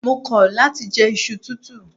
Mo kọ̀ láti je iṣu tútù.